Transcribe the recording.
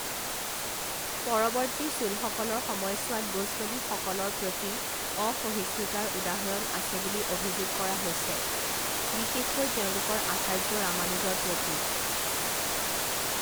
পৰৱৰ্তী চোলসকলৰ সময়ছোৱাত, বৈষ্ণৱীসকলৰ প্ৰতি অসহিষ্ণুতাৰ উদাহৰণ আছে বুলি অভিযোগ কৰা হৈছে, বিশেষকৈ তেওঁলোকৰ আচাৰ্য ৰামানুজৰ প্ৰতি।